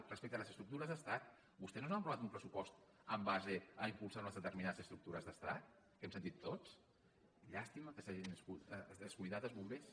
respecte a les estructures d’estat vostès no han aprovat un pressupost en base a impulsar unes determinades estructures d’estat que ho hem sentit tots llàstima que s’hagin descuidat els bombers